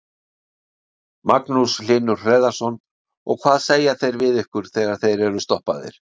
Magnús Hlynur Hreiðarsson: Og hvað segja þeir við ykkur þegar þeir eru stoppaðir?